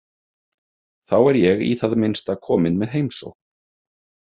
Þá er ég í það minnsta komin með heimsókn.